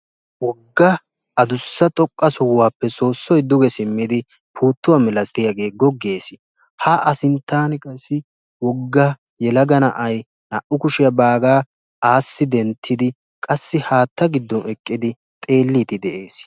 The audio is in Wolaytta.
wogga addussa xoqqasohuwappe soosoy puuttuwaa malatiyaage duge simmidi googees. ha a sinttan qassi wogga yelaga na'ay naa''u kushsiyaa baaga aassi denttidi qassi haata giddo denttid xeelide de'ees.